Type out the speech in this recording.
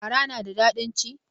Fara na da ɗadin ci?